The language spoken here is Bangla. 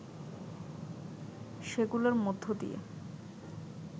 সেগুলোর মধ্য দিয়ে